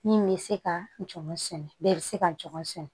Min bɛ se ka jɔn sɛnɛ bɛɛ bɛ se ka jɔn sɛn